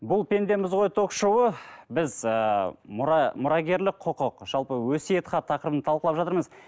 бұл пендеміз ғой ток шоуы біз ыыы мұра мұрагерлік құқық жалпы өсиет хат тақырыбын талқылап жатырмыз